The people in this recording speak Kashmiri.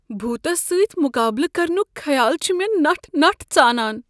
بھوتس سۭتۍ مقابلہٕ کرنک خیال چھ مےٚ نٹھ نٹھ ژانان۔